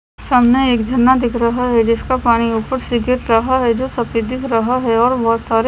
सामने एक झरना दिख रहा है जिसका पानी ऊपर से गिर रहा है जो सफ़ेद दिख रहा है और बहुत सारे---